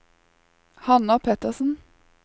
Hanna Pettersen